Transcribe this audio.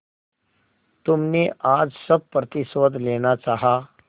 तुमने आज सब प्रतिशोध लेना चाहा